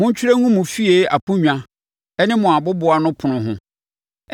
Montwerɛ ngu mo fie aponnwa ne mo aboboanopono ho.